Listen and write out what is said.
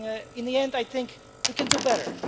In the end, I think we can do better.